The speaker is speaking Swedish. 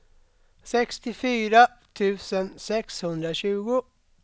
sextiofyra tusen sexhundratjugo